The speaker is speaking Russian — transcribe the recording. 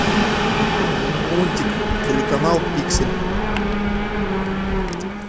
лунтик телеканал пиксель